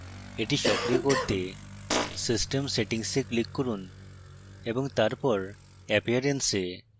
এটি সক্রিয় করতে system settings এ click করুন